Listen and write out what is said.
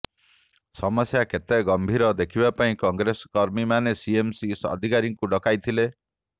ସମସ୍ୟା କେତେ ଗମ୍ଭୀର ଦେଖିବା ପାଇଁ କଂଗ୍ରେସ କର୍ମୀମାନେ ସିଏମ୍ସି ଅଧିକାରୀଙ୍କୁ ଡକାଇଥିଲେ